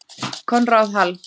Konráð Hall.